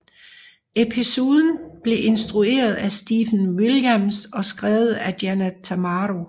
Episoden blev instrueret af Stephen Williams og skrevet af Janet Tamaro